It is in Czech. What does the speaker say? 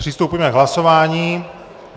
Přistoupíme k hlasování.